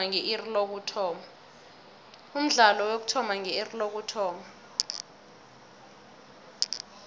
umdlalo uyokuthoma nge iri lokuthoma